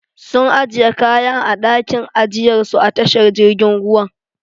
Sun ajiye kayan a dakin ajiyar su a tashar jirgin ruwan.